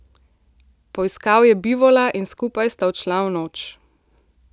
Poiskal je bivola in skupaj sta odšla v noč.